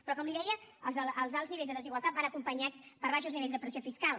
però com li deia els alts nivells de desigualtat van acompanyats per baixos nivells de pressió fiscal